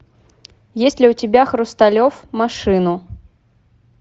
есть ли у тебя хрусталев машину